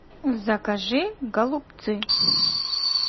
закажи голубцы